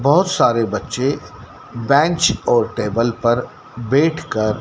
बहोत सारे बच्चे बेंच और टेबल पर बैठकर--